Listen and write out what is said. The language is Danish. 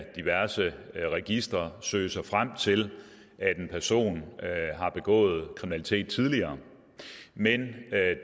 diverse registre søge sig frem til at en person har begået kriminalitet tidligere men